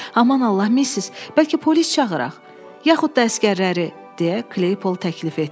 Aman Allah, Missis, bəlkə polis çağıraq, yaxud da əsgərləri, deyə Kleypol təklif etdi.